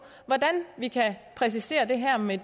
hvordan vi kan præcisere det her med